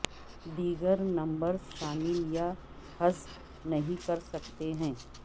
دیگر نمبرز شامل یا حذف نہیں کر سکتے ہیں